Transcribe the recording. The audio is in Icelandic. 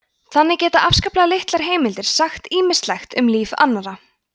þannig geta afskaplega litlar heimildir sagt ýmislegt um líf annarra